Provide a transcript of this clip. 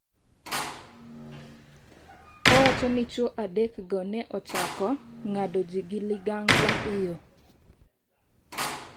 Owacho ni chwo adekgo ne ochako .ng’ado ji gi ligangla e yo.